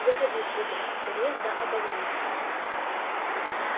выходи сударь скорее да обогрейся